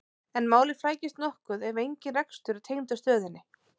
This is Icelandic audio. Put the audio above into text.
en málið flækist nokkuð ef engin rekstur er tengdur stöðinni